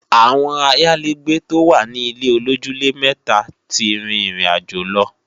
Àwọn ayálégbé tó wà ní ilé-olójúlé-mẹta ti rìn ìrìnàjò lọ